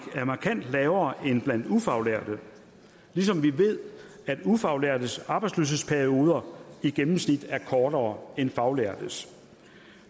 er markant lavere end blandt ufaglærte ligesom vi ved at ufaglærtes arbejdsløshedsperioder i gennemsnit er kortere end faglærtes